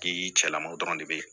K'i cɛlamanw dɔrɔn de be yen